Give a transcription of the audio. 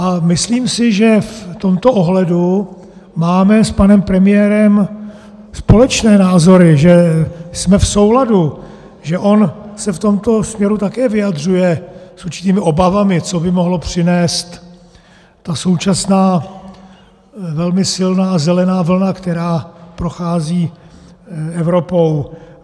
A myslím si, že v tomto ohledu máme s panem premiérem společné názory, že jsme v souladu, že on se v tomto směru také vyjadřuje s určitými obavami, co by mohla přinést ta současná, velmi silná zelená vlna, která prochází Evropou.